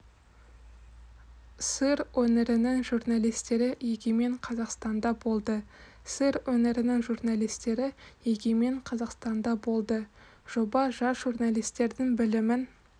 сыр өңірінің журналистері егемен қазақстанда болды сыр өңірінің журналистері егемен қазақстанда болды жоба жас журналистердің білімін